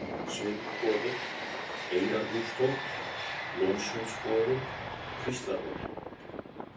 Sviðnuboði, Eyrarhústótt, Lónsundsboði, Kvíslarhóll